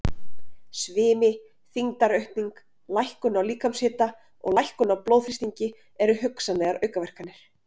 Svimi, þyngdaraukning, lækkun á líkamshita og lækkun á blóðþrýstingi eru hugsanlegar aukaverkanir.